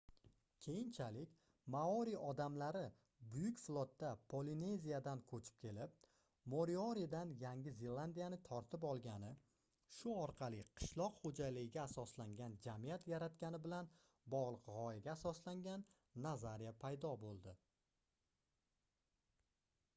keyinchalik maori odamlari buyuk flotda polineziyadan koʻchib kelib morioridan yangi zelandiyani tortib olgani shu orqali qishloq xoʻjaligiga asoslangan jamiyat yaratgani bilan bogʻliq gʻoyaga asoslangan nazariya paydo boʻldi